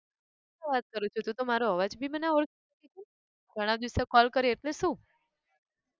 શુ વાત કરો છો તું તો મારો અવાજ થી બી ના ઓળખી! ઘણાં દિવસે call કર્યો એટલે શુ?